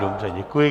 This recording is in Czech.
Dobře, děkuji.